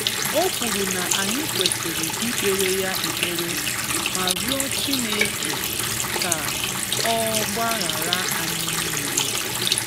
O kwuru na anyị kwesiri ikpere ya ekpere, ma rịọ Chineke ka ọ gbaghara anyị niile.